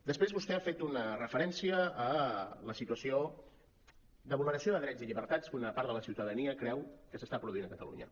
després vostè ha fet una referència a la situació de vulneració de drets i llibertats que una part de la ciutadania creu que s’està produint a catalunya